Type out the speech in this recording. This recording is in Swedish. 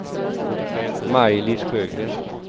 Maj-Lis Sjögren